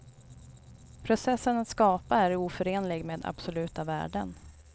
Processen att skapa är oförenlig med absoluta värden.